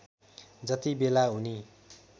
जति बेला उनी